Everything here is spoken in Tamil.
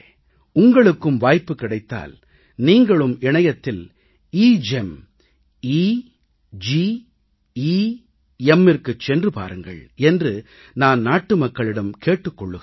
உங்களுக்கும் வாய்ப்பு கிடைத்தால் நீங்களும் இணையத்தில் எகெம் எ ஜி எ Mற்கு சென்று பாருங்கள் என்று நான் நாட்டுமக்களிடம் கேட்டுக் கொள்கிறேன்